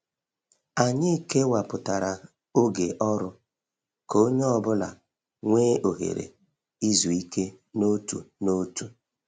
Anyị kewapụtara oge ọrụ ka onye ọ bụla nwee ohere izu ike n’otu n’otu.